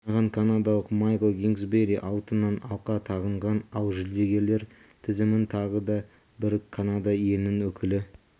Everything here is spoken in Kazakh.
жинаған канадалық майкл кингсбери алтыннан алқа тағынған ал жүлдегерлер тізімін тағы бір канада елінің өкілі